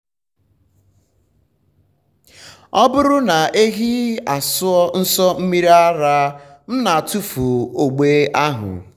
ọ bụrụ na ehi asụọ nso mmiri ara m na-atụfu ogbe ahụ.